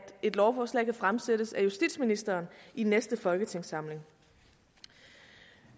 et lovforslag kan fremsættes af justitsministeren i næste folketingssamling